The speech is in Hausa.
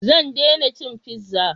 Zan dena cin fiza